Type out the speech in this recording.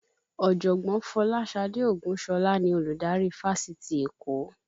Ọ̀jọ̀gbọ́n Folasade Ogunsola ni Olùdarí fáṣítì Èkó